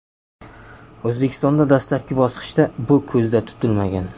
O‘zbekistonda dastlabki bosqichda bu ko‘zda tutilmagan.